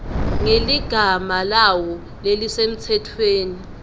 ngeligama lawo lelisemtsetfweni